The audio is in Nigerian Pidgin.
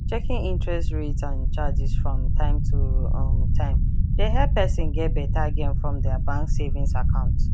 checking interest rates and charges from time to um time dey help person get better gain from their bank savings account